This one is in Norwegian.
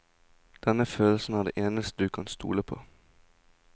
Denne følelsen er det eneste du kan stole på.